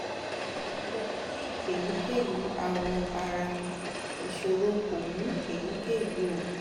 mo ti ko ni eyikeyi awọ ara isoro ko mu eyikeyi um oogun